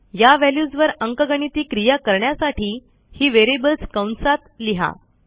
या व्हॅल्यूजवर अंकगणिती क्रिया करण्यासाठी ही व्हेरिएबल्स कंसात लिहा